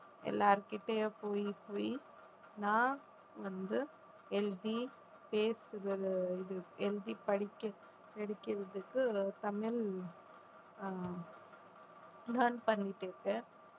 எல்லார்கிட்டயும் போயி போயி நான் வந்து எழுதி பேசுறது இது எழுதி படிக்கற~ படிக்கறதுக்கு தமிழ் ஆஹ் learn பண்ணிட்டிருக்கேன்